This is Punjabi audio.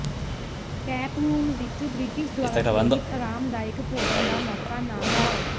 ਟੈਪ ਰੂਮ ਵਿੱਚ ਬ੍ਰਿਟਿਸ਼ ਦੁਆਰਾ ਪ੍ਰੇਰਿਤ ਆਰਾਮਦਾਇਕ ਭੋਜਨ ਦਾ ਮੌਕਾ ਨਾ ਗੁਆਓ